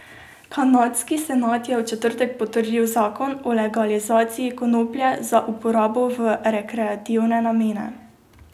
Kanadski senat je v četrtek potrdil zakon o legalizaciji konoplje za uporabo v rekreativne namene.